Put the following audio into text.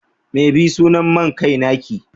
me be sunan main kai na ki?